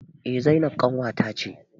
Eh zainab ƙanwata ce